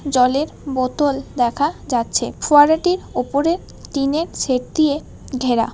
জলের বোতল দেখা যাচ্ছে ফোয়ারাটির ওপরে টিনের শেড দিয়ে ঘেরা।